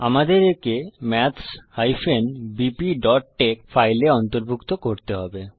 আমাদের একে maths bpটেক্স ফাইলে অন্তর্ভুক্ত করতে হবে